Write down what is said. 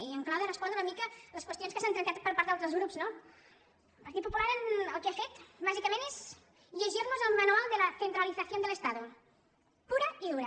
i en clau de respondre una mica a les qüestions que s’han tractat per part d’altres grups no el partit popular el que ha fet bàsicament és llegir nos el manual de la centralización del estado pura i dura